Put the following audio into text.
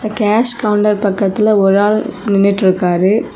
அந்த cash counter பக்கத்துல ஒரு ஆள் நின்னுட்டிருக்காரு.